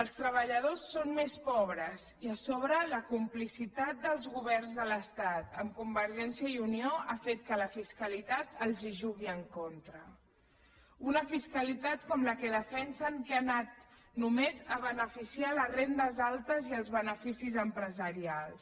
els treballadors són més pobres i a sobre la complicitat dels governs de l’estat amb convergència i unió ha fet que la fiscalitat els jugui en contra una fiscalitat com la que defensen que ha anat només a beneficiar les rendes altes i els beneficis empresarials